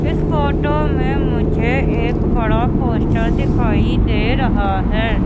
इस फोटो में मुझे एक बड़ा पोस्टर दिखाई दे रहा है।